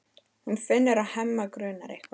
Hún finnur að Hemma grunar eitthvað.